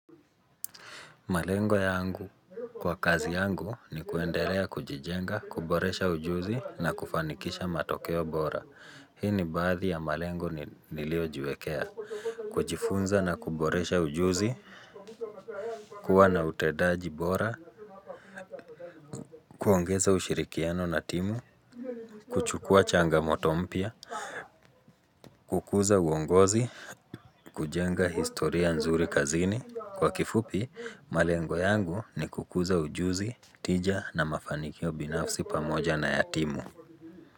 Malengo ya angu kwa kazi yangu ni kuendelea kujijenga, kuboresha ujuzi na kufanikisha matokeo bora. Hii ni baadhi ya malengo nilio jiwekea. Kujifunza na kuboresha ujuzi, kuwa na utedaji bora, kuongeza ushirikiano na timu, kuchukua changamoto mpia, kukuza uongozi, kujenga historia nzuri kazini. Kwa kifupi, malengo yangu ni kukuza ujuzi, tija na mafanikio binafsi pamoja na yatimu.